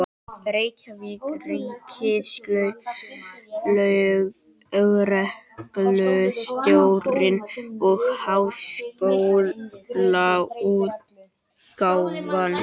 Reykjavík: Ríkislögreglustjórinn og Háskólaútgáfan.